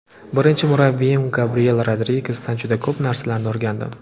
Birinchi murabbiyim Gabriyel Rodrigesdan juda ko‘p narsalarni o‘rgandim.